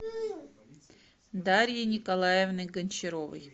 дарьи николаевны гончаровой